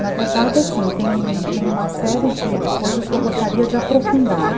Na verdade, assim, tem tem uma série de coisas que eu gostaria de aprofundar.